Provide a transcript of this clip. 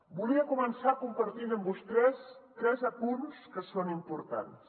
volia començar compartint amb vostès tres apunts que són importants